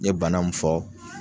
N ɲe bana mun fɔ